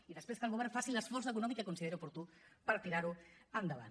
i després que el govern faci l’esforç econòmic que consideri oportú per tirar ho endavant